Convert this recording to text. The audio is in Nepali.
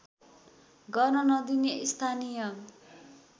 गर्न नदिने स्थानीय